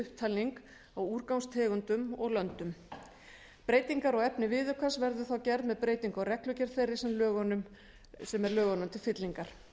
upptalning á úrgangstegundum og löndum breytingar á efni viðaukans verður þá gerð með breytingu á reglugerð þeirri sem er lögunum til fyllingar